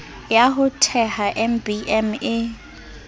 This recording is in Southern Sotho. ya ho theha mbm e